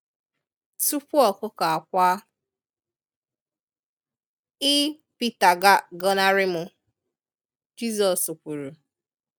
Tupu ọkụkọ akwaa, i (pita) ga agọnarị m”, Jizọs kwuru.